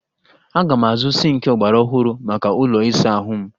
Aga m azụ sịnkị ọgbaraọhụrụ maka ụlọ ịsa ahụ m